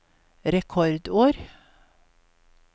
rekordår